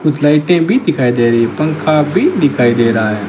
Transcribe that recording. कुछ लाइटें भी दिखाई दे रही है पंखा भी दिखाई दे रहा है।